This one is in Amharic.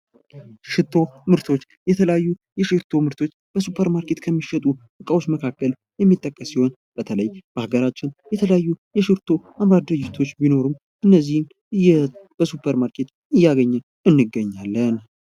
ሽቶ ምርቶች ፦ የተለያዩ የሽቶ ምርቶች በሱፐርማርኬት የሚሸጡ እቃዎች መካከል የሚጠቀስ ሲሆን በተለይ በሀገራችን የተለያዩ የሽቶ አምራች ድርጅቶች ቢኖሩም እነዚህን በሱፐር ማርኬት እያገኘን እንገኛለን ።